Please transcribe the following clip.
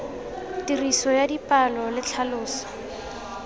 tiriso ya dipalo le tlhaloso